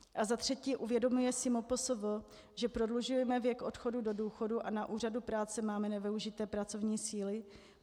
A za třetí: Uvědomuje si MPSV, že prodlužujeme věk odchodu do důchodu, a na úřadu práce máme nevyužité pracovní síly?